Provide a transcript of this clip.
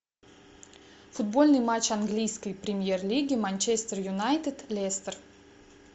футбольный матч английской премьер лиги манчестер юнайтед лестер